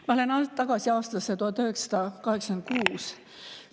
Ma lähen tagasi aastasse 1986.